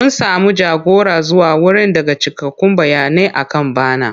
Mun samu jagora zuwa wurin daga cikakkun bayanai akan bana.